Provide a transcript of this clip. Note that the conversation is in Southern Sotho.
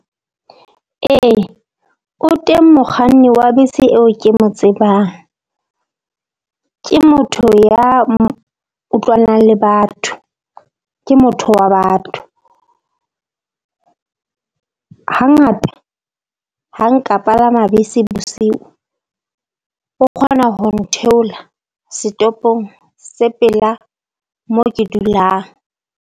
Ee o teng mokganni wa bese eo ke mo tsebang, ke motho ya utlwanang le batho ke motho wa batho. Hangata ha nka palama bese bosiu, o kgona ho ntheola setoropong se pela moo ke dulang.